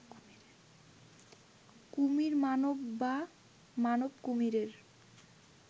কুমির-মানব বা মানব-কুমিরের